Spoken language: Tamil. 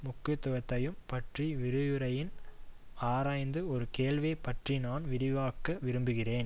முக்கியத்துவத்தையும் பற்றி விரிவுரையில் ஆராய்ந்த ஒரு கேள்வியைப் பற்றி நான் விரிவாக்க விரும்புகிறேன்